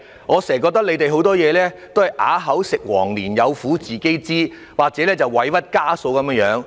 我覺得局方做事經常都"啞子食黃蓮，有苦自己知"，好像受盡委屈的家嫂般。